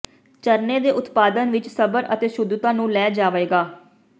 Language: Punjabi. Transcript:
ਝਰਨੇ ਦੇ ਉਤਪਾਦਨ ਵਿੱਚ ਸਬਰ ਅਤੇ ਸ਼ੁੱਧਤਾ ਨੂੰ ਲੈ ਜਾਵੇਗਾ